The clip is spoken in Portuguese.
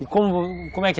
E como é que é?